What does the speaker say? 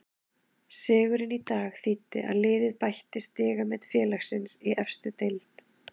Sigurinn í dag þýddi að liðið bætti stigamet félagsins í efstu deild.